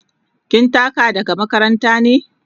Kin taka daga makaranta ne?